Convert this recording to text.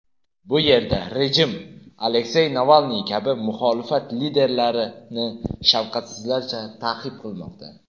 Bu yerda rejim Aleksey Navalniy kabi muxolifat liderlarini shafqatsizlarcha ta’qib qilmoqda.